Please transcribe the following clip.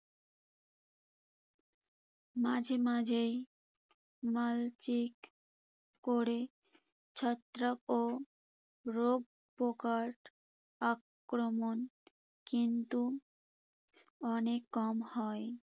মাঝেমাঝেই মালচিং করে ছত্রাক ও রোগ পোকার আক্রমণ কিন্তু অনেক কম হয়।